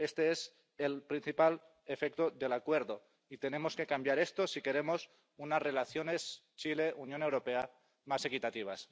Este es el principal efecto del Acuerdo y tenemos que cambiar esto si queremos unas relaciones Chile Unión Europea más equitativas.